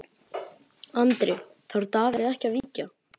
Andri: Þarf Davíð ekki að víkja?